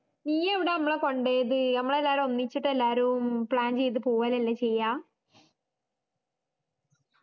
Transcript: ഇയ്യെവിടാ മ്മളെ കൊണ്ടോയത് നമ്മളെല്ലാരും ഒന്നിച്ചിട്ടല്ലാരും plan ചെയ്ത് പോവലല്ലേ ചെയ്യാ